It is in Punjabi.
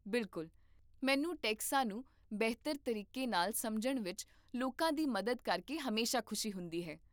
ਬਿਲਕੁਲ, ਮੈਨੂੰ ਟੈਕਸਾਂ ਨੂੰ ਬਿਹਤਰ ਤਰੀਕੇ ਨਾਲ ਸਮਝਣ ਵਿੱਚ ਲੋਕਾਂ ਦੀ ਮਦਦ ਕਰਕੇ ਹਮੇਸ਼ਾ ਖੁਸ਼ੀ ਹੁੰਦੀ ਹੈ